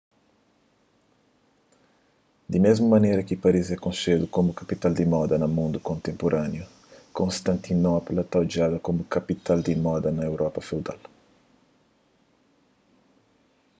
di mésmu manera ki paris é konxedu komu kapital di moda na mundu kontenpuraniu konstantinopla ta odjada komu kapital di moda na europa feudal